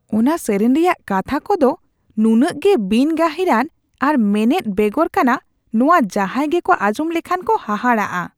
ᱚᱱᱟ ᱥᱮᱨᱮᱧ ᱨᱮᱭᱟᱜ ᱠᱟᱛᱷᱟ ᱠᱚᱫᱚ ᱱᱩᱱᱟᱹᱜ ᱜᱮ ᱵᱤᱱᱼᱜᱟᱹᱦᱤᱨᱟᱱ ᱟᱨ ᱢᱮᱱᱮᱫ ᱵᱮᱜᱚᱨ ᱠᱟᱱᱟ ᱱᱚᱶᱟ ᱡᱟᱦᱟᱭ ᱜᱮᱠᱚ ᱟᱸᱡᱚᱢ ᱞᱮᱠᱷᱟᱱ ᱠᱚ ᱦᱟᱦᱟᱲᱟᱜᱚᱜᱼᱟ ᱾